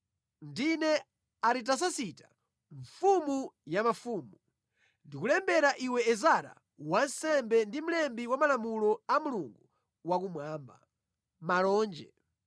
Ndine Aritasasita, mfumu ya mafumu. Ndikulembera iwe Ezara wansembe ndi mlembi wa malamulo a Mulungu Wakumwamba. Malonje.